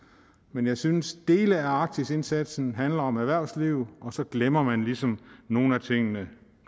men jeg synes at dele af arktisindsatsen handler om erhvervsliv og så glemmer man ligesom nogle af tingene